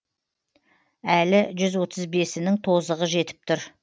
әлі жүз отыз бесінің тозығы жетіп тұр